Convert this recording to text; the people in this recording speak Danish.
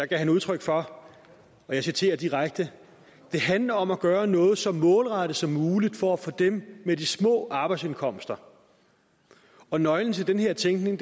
gav udtryk for og jeg citerer direkte det handler om at gøre noget så målrettet som muligt for dem med de små arbejdsindkomster og nøglen til den her tænkning